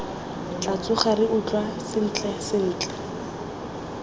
tla tsoga re utlwa sentlentle